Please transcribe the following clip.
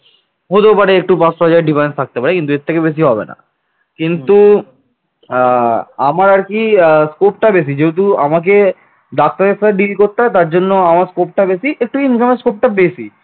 আমার আর কি আহ scope বেশি যেহেতু আমাকে ডাক্তারের সাথে deal করতে হয় তার জন্য আমার scope টা বেশি একটু income scope টা বেশি